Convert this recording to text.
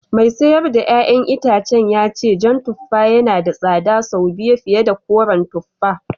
Mai sayar da ’ya’yan itacen ya ce jan tuffa yana da tsada sau biyu fiye da koren tuffa